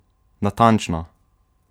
Natančno!